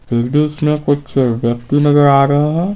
फिर भी उसमें कुछ व्यक्ति नजर आ रहे है।